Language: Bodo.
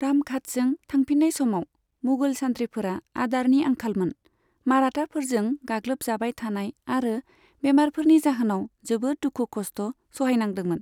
रामघाटजों थांफिननाय समाव मुगल सान्थ्रिफोरा आदारनि आंखालमोन, माराथाफोरजों गाग्लोबजाबाय थानाय आरो बेमारफोरनि जाहोनाव जोबोद दुखु खस्ट' सहायनांदोंमोन।